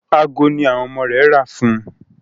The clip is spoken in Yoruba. Aago ní àwọn ọmọ rẹ̀ rà fún ùn.